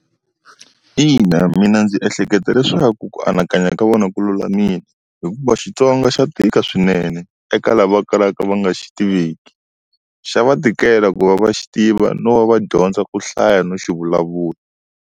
Ina mina ndzi ehleketa leswaku ku anakanya ka vona ku lulamile, hikuva Xitsonga xa tika swinene eka lava va kalaka va nga xi tiveki. Xa va tikela ku va va xi tiva no va va dyondza ku hlaya no xi vulavula.